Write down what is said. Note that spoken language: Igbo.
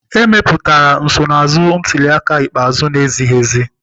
Emepụtara nsonaazụ ntuli aka ikpeazụ na-ezighiezi.